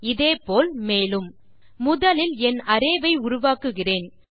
இதே போல் மேலும் முதலில் என் அரே வை உருவாக்குகிறேன்